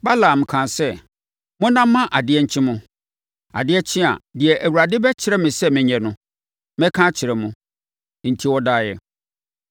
Balaam kaa sɛ, “Monna ma adeɛ nkye mo. Adeɛ kye a, deɛ Awurade bɛkyerɛ me sɛ menyɛ no, mɛka akyerɛ mo.” Enti wɔdaeɛ.